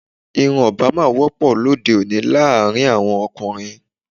Irun Obama wọ́pọ̀ lóde òní láàrin àwọn ọkùnrin